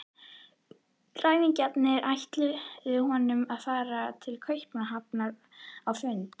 Ræningjarnir ætluðu honum að fara til Kaupmannahafnar á fund